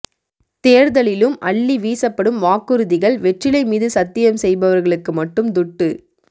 தேர்தலிலும் அள்ளி வீசப்படும் வாக்குறுதிகள் வெற்றிலை மீது சத்தியம் செய்பவர்களுக்கு மட்டும் துட்டு